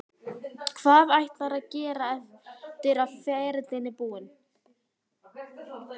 Hvað ætlarðu að gera eftir að ferilinn er búinn?